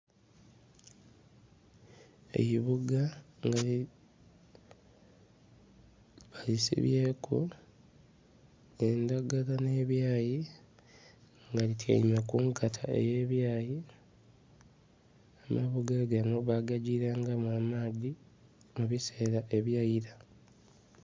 Eibuga nga balisibyeku edhagala nhebyayi nga lityaime kunkata eyebyayi, amabuga ganho bagagirangamu nh'amaadhi ebisera ebyaira.